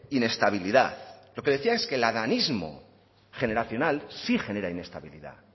inestabilidad lo que decía es que el adanismo generacional sí genera inestabilidad